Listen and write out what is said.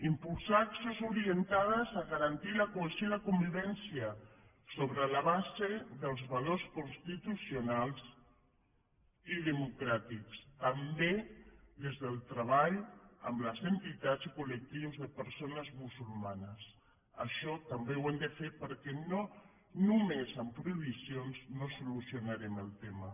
impulsar accions orientades a garantir la cohesió i la convivència sobre la base dels valors constitucionals i democràtics també des del treball amb les entitats i col·lectius de persones musulmanes això també ho hem de fer perquè només amb prohibicions no solucionarem el tema